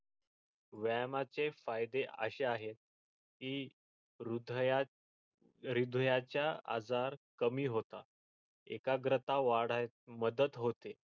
व्यायामाचे फायदे असे आहेत की हृदयात हृदयाचे आजार कमी होतात एकाग्रता वाढण्यात मदत होते.